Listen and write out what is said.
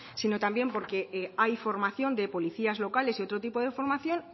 sino también porque hay formación de policías locales y otro tipo de formación